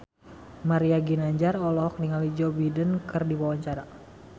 Mario Ginanjar olohok ningali Joe Biden keur diwawancara